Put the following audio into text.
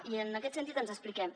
i en aquest sentit ens expliquem